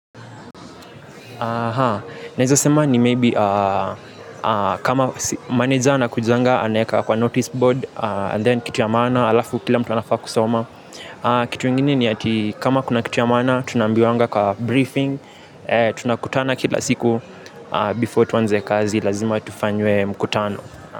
Naeza sema ni maybe kama maneja anakujanga anaeka kwa notice board and then kitu ya maana alafu kila mtu anafaa kusoma. Kitu ingine ni kama kuna kitu ya maana tunaambiwanga kwa briefing tunakutana kila siku before tuanze kazi lazima tufanywe mkutano.